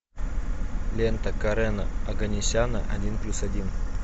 лента карена оганесяна один плюс один